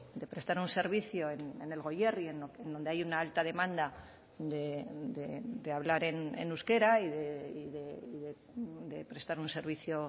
de prestar un servicio en el goierri donde hay una alta demanda de hablar en euskera y de prestar un servicio